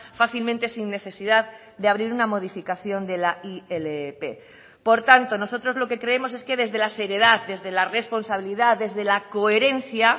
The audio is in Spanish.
fácilmente sin necesidad de abrir una modificación de la ilp por tanto nosotros lo que creemos es que desde la seriedad desde la responsabilidad desde la coherencia